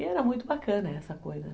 E era muito bacana essa coisa, né?